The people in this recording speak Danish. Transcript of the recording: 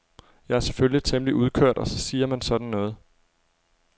Jeg er selvfølgelig temmelig udkørt og så siger man sådan noget.